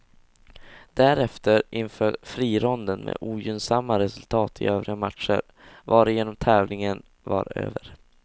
Därefter inföll frironden med ogynnsamma resultat i övriga matcher, varigenom tävlingen var över.